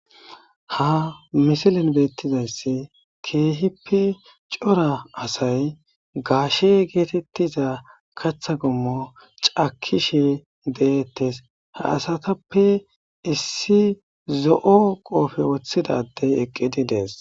ha misilin beettizayssi keehippe cora asay gaashe geetettiza katha gommo cakishe deettes ha asatappe issi zo7o qoofe woththidadey eqqidi dees